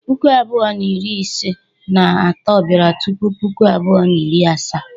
Puku abụọ na iri ise na ato bịara tupu Puku abụọ na iri asaa.